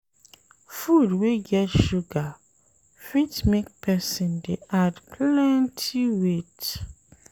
Food wey get sugar fit make person dey add plenty weight